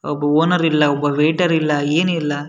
ಒಬ್ಬ ಓನರ್ ಇಲ್ಲ ಒಬ್ಬ ವೈಟರ್ ಇಲ್ಲ ಏನಿಲ್ಲ.